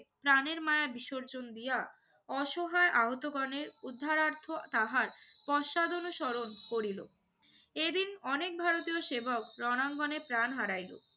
প্রাণের মায়া বিসর্জন দিয়া অসহায় আহতগণের উদ্ধারার্থে তাহার পশ্চাদনুসরণ করিল। এদিন অনেক ভারতীয় সেবক রণাঙ্গনে প্রাণ হারাইল।